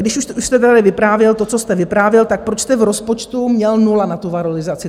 Když už jste tady vyprávěl to, co jste vyprávěl, tak proč jste v rozpočtu měl nulu na tu valorizaci?